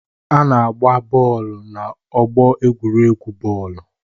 A na-agba bọọlụ n'ọgbọ egwuregwu bọọlụ.